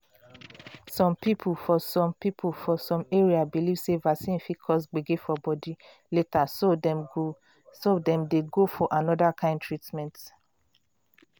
some people for some people for some areas believe sey vaccine fit cause gbege for body later so dem dey go for another kind treatment.